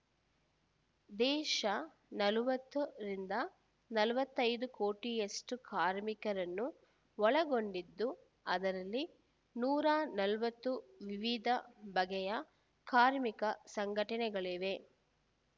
ದೇಶ ನಲವತ್ತರಿಂದ ನಲವತ್ತೈದು ಕೋಟಿಯಷ್ಟುಕಾರ್ಮಿಕರನ್ನು ಒಳಗೊಂಡಿದ್ದು ಅದರಲ್ಲಿ ನೂರ ನಲವತ್ತು ವಿವಿಧ ಬಗೆಯ ಕಾರ್ಮಿಕ ಸಂಘಟನೆಗಳಿವೆ